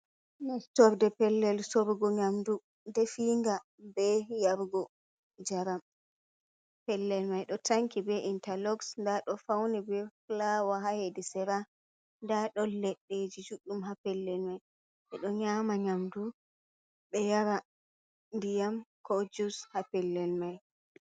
Nestorde pellel sorgu nyamdu definga be yargo jaram, pellel mai ɗo tanki be intaloxs nda ɗo fauni be fulawa ha hedi sera nda ɗon leɗɗeeji judɗum ha pellel mai ɓeɗo nyama nyamdu ɓe yara ndiyam ko jus ha pellel mai.